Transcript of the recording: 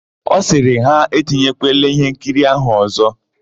Ọ sịrị ha, "e tinyekwala íhénkiri áhụ̀ ọ̀zọ́"1